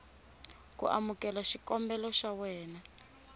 ku amukela xikombelo xa wena